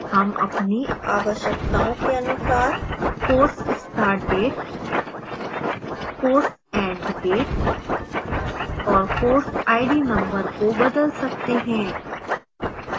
हम अपनी आवश्यकताओं के अनुसार course start date course end date और course id number को बदल सकते हैं